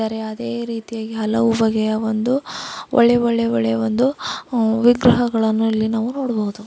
ಯಾವುದೇ ರೀತಿಯಾಗಿ ಹಲವು ಬಗೆಯ ಒಂದು ಒಳ್ಳೆ ಒಳ್ಳೆ ಒಳ್ಳೆ ಒಂದು ಹು- ವಿಗ್ರಹಗಳನ್ನು ಇಲ್ಲಿ ನಾವು ನೋಡಬಹುದು.